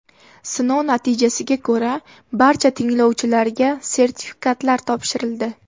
Sinov natijasiga ko‘ra barcha tinglovchilarga sertifikatlar topshirildi.